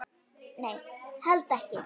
Nei, held ekki.